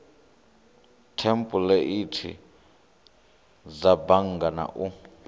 thempuleithi dza bannga na u